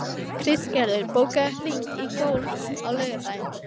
Kristgerður, bókaðu hring í golf á laugardaginn.